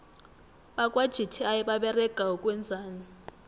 bakwa gti baberega ukwenzani